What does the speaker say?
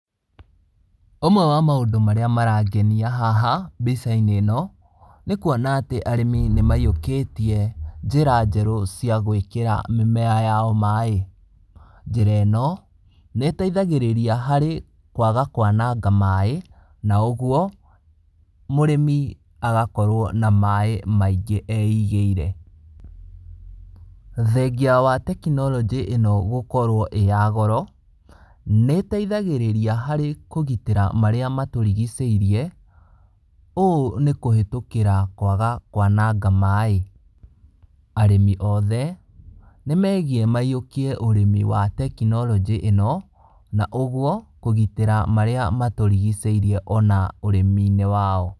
Ũmwe wa maũndũ marĩa marangenia haha mbica-inĩ ĩno, nĩ kwona arĩmu nĩ maiyũkĩtie njĩra njerũ cia gwĩkĩra mĩmera yao maĩ, njĩra ĩno nĩ ĩteithagĩria harĩ kwaga kwananga maĩ na ũguo mũrĩmi agakorwo na maĩ maingĩ eigĩire, thengia wa tekinoronjĩ ĩno gũkorwo ĩrĩ ya goro, nĩ teithagĩrĩria harĩ kũgitĩra marĩa matũrigicĩirie ũũ nĩ kũhetũkĩra kwaga kwananga maĩ, arĩmi othe nĩ megie maiyũkie ũrĩmi wa tekinoronjĩ ĩno, na ũguo kũgitĩra marĩa matũrigicĩirie ona ũrimi-inĩ wao.